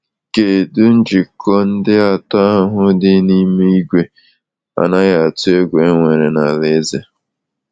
Kedu njikọ ndị atọ ahụ dị n’ime igwe anaghị atụ egwu enwere na alaeze?